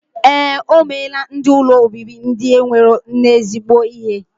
Ee, omelaa ndi ụlọ obibi ndi enwero nne zigbo ihe.